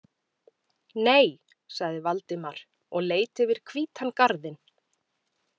Nei- sagði Valdimar og leit yfir hvítan garðinn.